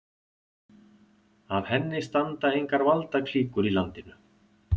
Að henni standa engar valdaklíkur í landinu.